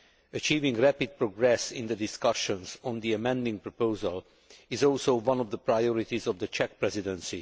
Achieving rapid progress in the discussions on the amending proposal is also one of the priorities of the Czech Presidency.